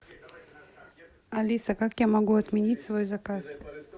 алиса как я могу отменить свой заказ